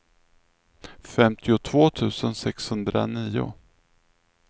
femtiotvå tusen sexhundranio